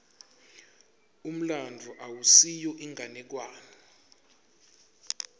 umlandvo awusiyo inganekwane